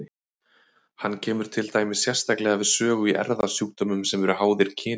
Hann kemur til dæmis sérstaklega við sögu í erfðasjúkdómum sem eru háðir kyni.